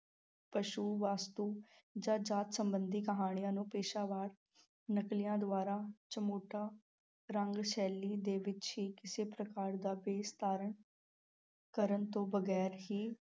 ਪਸੂ, ਵਸਤੂ ਜਾਂ ਜਾਤ ਸੰਬੰਧੀ ਕਹਾਣੀਆਂ ਨੂੰ ਪੇਸ਼ਾਵਰ ਨਕਲੀਆਂ ਦੁਆਰਾ ਚਮੋਟਾ ਰੰਗ ਸ਼ੈਲੀ ਦੇ ਵਿੱਚ ਹੀ ਕਿਸੇ ਪ੍ਰਕਾਰ ਦਾ ਭੇਸ ਧਾਰਨ ਕਰਨ ਤੋਂ ਬਗ਼ੈਰ ਹੀ